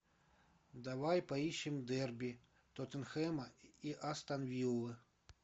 давай поищем дерби тоттенхэма и астон виллы